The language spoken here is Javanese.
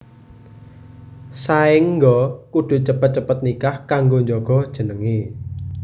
Saéngga kudu cepet cepet nikah kanggo njaga jenengé